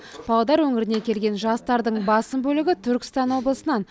павлодар өңірінен келген жастардың басым бөлігі түркістан облысынан